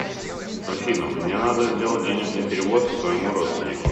афина мне надо сделать денежный перевод своему родственнику